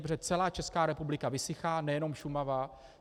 Protože celá Česká republika vysychá, nejenom Šumava.